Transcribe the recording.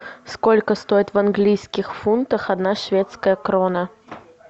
сколько стоит в английских фунтах одна шведская крона